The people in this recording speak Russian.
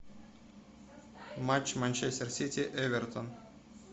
матч манчестер сити эвертон